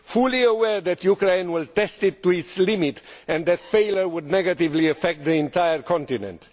fully aware that Ukraine will test it to its limit and that failure would negatively affect the entire continent.